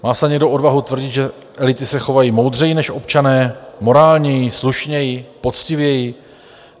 Má snad někdo odvahu tvrdit, že elity se chovají moudřeji než občané, morálněji, slušněji, poctivěji?